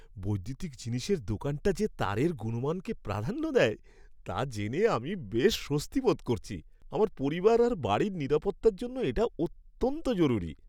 বৈদ্যুতিক জিনিসের দোকানটা যে তারের গুণমানকে প্রাধান্য দেয়, তা জেনে আমি বেশ স্বস্তি বোধ করছি। আমার পরিবার আর বাড়ির নিরাপত্তার জন্য এটা অত্যন্ত জরুরি।